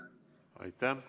Aitäh!